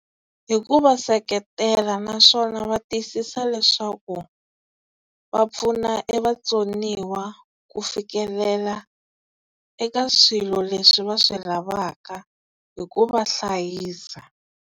Hi ku va seketela naswona va tiyisisa leswaku va pfuna e vatsoniwa ku fikelela eka swilo leswi va swi lavaka hi ku va hlayisa.